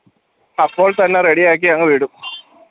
അപ്പോൾ തന്നെ ready യാക്കി അങ്ങ് വിടും